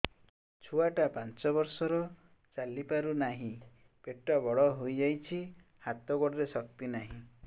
ଛୁଆଟା ପାଞ୍ଚ ବର୍ଷର ଚାଲି ପାରୁ ନାହି ପେଟ ବଡ଼ ହୋଇ ଯାଇଛି ହାତ ଗୋଡ଼ରେ ଶକ୍ତି ନାହିଁ